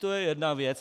To je jedna věc.